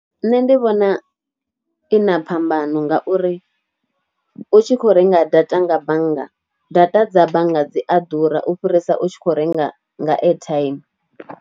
Nṋe ndi vhona i na phambano ngauri, u tshi khou renga data nga bannga, data dza bannga dzi a ḓura u fhirisa u tshi khou renga data nga airtime.